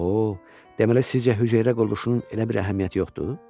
O, deməli sizcə hüceyrə quruluşunun elə bir əhəmiyyəti yoxdur?